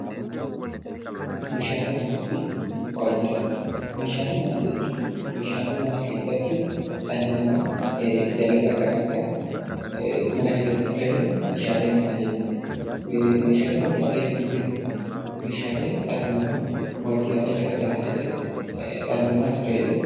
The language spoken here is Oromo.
Meeshaalee manaa jechuun meeshaalee mana keessatti dhalli namaa dalagaa garaagaraa mana keessatti itti fayyadamu meeshaalee manaa jennaan. Meeshaalee waajjiraalee yommuu jennu immoo meeshaalee dhalli namaa waajjiraalee keessatti itti fayyadamudha .